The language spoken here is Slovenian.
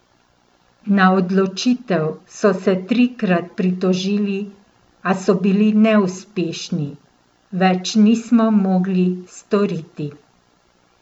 Na odločitev so se trikrat pritožili, a so bili neuspešni: "Več nismo mogli storiti.